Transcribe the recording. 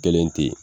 Kelen tɛ yen